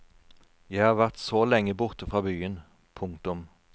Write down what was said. Jeg har vært så lenge borte fra byen. punktum